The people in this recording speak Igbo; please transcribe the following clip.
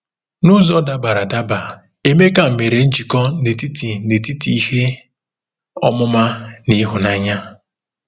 N'ụzọ dabara adaba, Emeka mere njikọ n'etiti n'etiti ihe ọmụma na ịhụnanya.